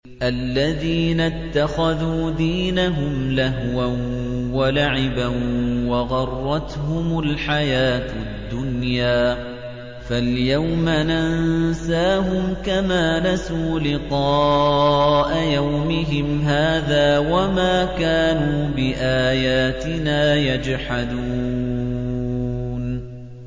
الَّذِينَ اتَّخَذُوا دِينَهُمْ لَهْوًا وَلَعِبًا وَغَرَّتْهُمُ الْحَيَاةُ الدُّنْيَا ۚ فَالْيَوْمَ نَنسَاهُمْ كَمَا نَسُوا لِقَاءَ يَوْمِهِمْ هَٰذَا وَمَا كَانُوا بِآيَاتِنَا يَجْحَدُونَ